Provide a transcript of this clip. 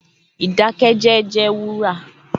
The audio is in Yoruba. Idakẹjẹ jẹ wura